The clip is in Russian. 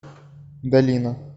долина